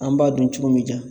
An b'a dun cogo m'i ja